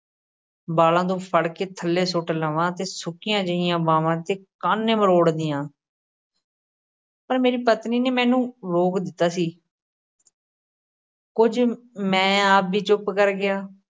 ਵਾਲ਼ਾਂ ਤੋਂ ਫੜ ਕੇ ਥੱਲੇ ਸੁੱਟ ਲਵਾਂ ਅਤੇ ਸੁੱਕੀਆਂ ਜਿਹੀਆਂ ਬਾਂਹਵਾਂ ਦੇ ਕਾਨੇ ਮਰੋੜ ਦਿਆਂ ਪਰ ਮੇਰੀ ਪਤਨੀ ਨੇ ਮੈਨੂੰ ਰੋਕ ਦਿੱਤਾ ਸੀ ਕੁਝ ਮੈਂ ਆਪ ਵੀ ਚੁੱਪ ਕਰ ਗਿਆ।